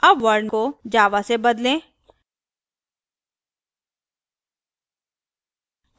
अब world को java से बदलें